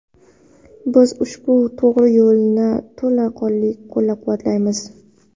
Biz ushbu to‘g‘ri yo‘lni to‘la qo‘llab-quvvatlaymiz.